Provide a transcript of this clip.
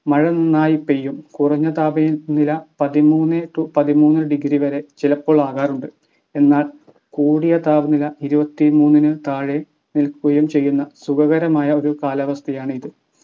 മഴ നന്നായി പെയ്യും കുറഞ്ഞ താപ നില പതിമൂന്നെ to പതിമൂന്ന് degree വരെ ചിലപ്പോൾ ആകാറുണ്ട് എന്നാൽ കൂടിയ താപനില ഇരുപത്തിമൂന്ന്നു താഴെ നിൽക്കുകയും ചെയ്യുന്ന സുഖകരമായ ഒരു കാലാവസ്ഥയാണ് ഇത്